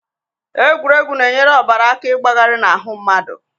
Egwuregwu na-enyere ọbara aka ịgbagarị n'ahụ mmadụ